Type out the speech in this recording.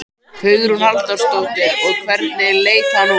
Hugrún Halldórsdóttir: Og hvernig leit hann út?